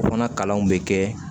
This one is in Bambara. O fana kalanw bɛ kɛ